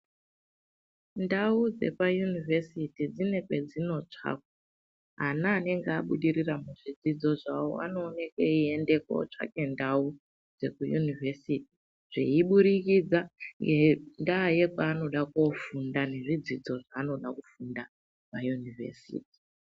Ndau dzepa yunivhesiti dzine pe dzino tsvakwa ana anenge abudirira mu zvidzidzo zvawo ano oneke eyi ende ko tsvake ndau dzeku yunivhesiti zvei budikidza ngenda yekwa anoda ko funda ne zvidzidzo zva anoda kufunda pa yunivhesiti.